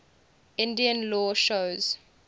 indian law shows